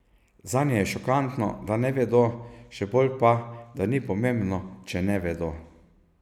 Zanje je šokantno, da ne vedo, še bolj pa, da ni pomembno, če ne vedo.